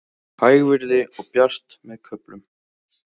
Hægviðri og bjart með köflum